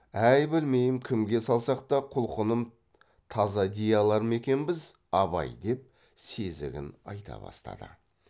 әй білмеймін кімге салсақ та құлқыным таза дей алар ма екенбіз абай деп сезігін айта бастады